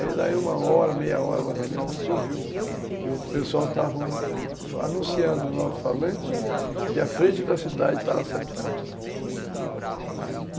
Aí dali uma hora, meia hora, mais ou menos, a gente ouviu que o pessoal estava anunciando no alto-falante que a frente da cidade estava assentando.